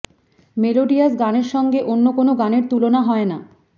melodious গানের সঙ্গে অন্য কোনও গানের তুলনা হয় না